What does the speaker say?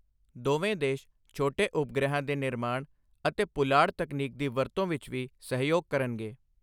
ਦੋਵੇਂ ਦੇਸ਼ ਛੋਟੇ ਉਪਗ੍ਰਹਿਾਂ ਦੇ ਨਿਰਮਾਣ ਅਤੇ ਪੁਲਾੜ ਤਕਨੀਕ ਦੀ ਵਰਤੋਂ ਵਿੱਚ ਵੀ ਸਹਿਯੋਗ ਕਰਨਗੇ।